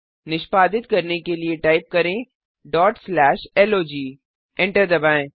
निष्पादित करने के लिए टाइप करें log एंटर दबाएँ